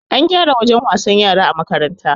An gyara wajen wasan yara a makaranta